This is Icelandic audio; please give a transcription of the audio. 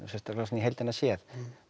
sérstaklega svona í heildina séð